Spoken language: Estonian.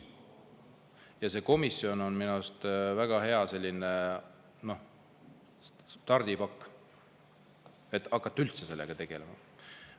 Ja see komisjon on minu arust väga hea stardipakk, et hakata sellega tegelema.